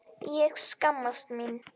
Ég skammaðist mín.